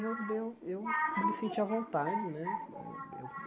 Eu eu eu me senti à vontade né. Eh eu